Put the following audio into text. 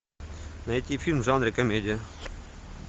найти фильм в жанре комедия